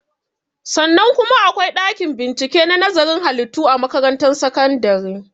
Sannan kuma akwai ɗakin bincike na nazarin halittu a makaratun sakandare